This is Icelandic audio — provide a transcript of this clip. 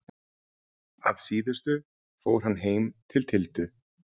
Að síðustu fór hann heim til Tildu.